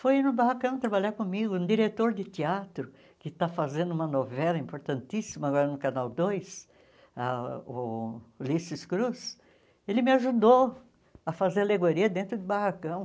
foi no barracão trabalhar comigo, um diretor de teatro, que está fazendo uma novela importantíssima agora no Canal dois, ah o Ulisses Cruz, ele me ajudou a fazer alegoria dentro do barracão.